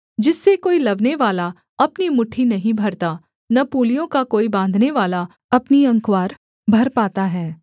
जिससे कोई लवनेवाला अपनी मुट्ठी नहीं भरता न पूलियों का कोई बाँधनेवाला अपनी अँकवार भर पाता है